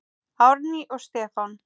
Árný og Stefán.